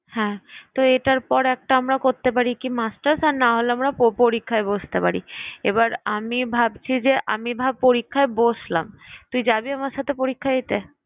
হ্যাঁ তো এটার পর একটা আমরা করতে পারি কি masters আর না হলে আমরা প~ পরীক্ষায় বসতে পারি। এবার আমি ভাবছি যে আমি ভা~ পরীক্ষায় বসলাম তুই যাবি আমার সাথে পরীক্ষা দিতে?